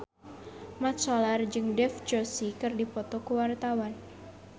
Mat Solar jeung Dev Joshi keur dipoto ku wartawan